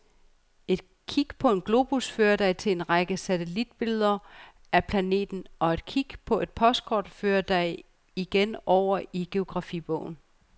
Et klik på en globus fører dig til en række satellitbilleder af planeten, og et klik på et postkort fører dig igen over i geografibogen.